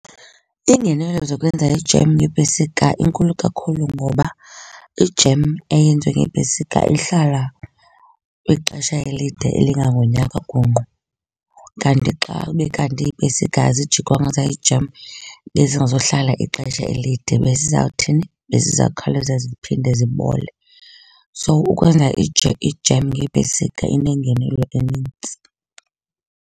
Iingenelo zokwenza ijem ngeepesika inkulu kakhulu ngoba ijem eyenziwe ngeepesika ihlala ixesha elide elingangonyaka gungqu. Kanti xabe kanti iipesika azijikwanga zayijem bezingazuhlala ixesha elide, bezizawuthini, bezizawukhawuleza ziphinde zibole. So ukwenza ijem ngeepesika inengenelo enintsi.